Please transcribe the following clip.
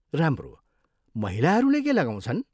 राम्रो। महिलाहरूले के लगाउँछन्?